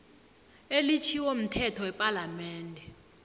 elitjhiwo mthetho wepalamende